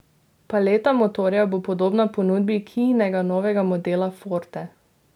Paleta motorjev bo podobna ponudbi kiinega novega modela forte.